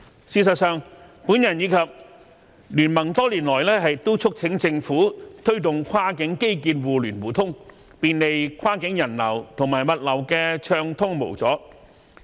事實上，我及經民聯多年來都促請政府推動跨境基建互聯互通，便利跨境人流和物流的暢通無阻。